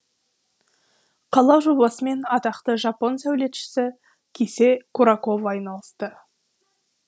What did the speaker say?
қала жобасымен атақты жапон сәулетшісі кисе куракова айналысты